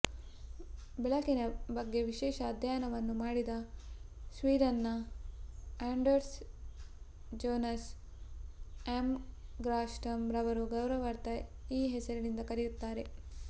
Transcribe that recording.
ಬೆಳಕಿನ ಬಗ್ಗೆ ವಿಶೇಷ ಅಧ್ಯಯನವನ್ನು ಮಾಡಿದ ಸ್ವೀಡನ್ನ ಆಂಡರ್ಸ್ ಜೋನಾಸ್ ಆಯ್ಂಗ್ಸ್ಟ್ರಾಮ್ ರವರ ಗೌರವಾರ್ಥ ಈ ಹೆಸರಿನಿಂದ ಕರೆಯುತ್ತಾರೆ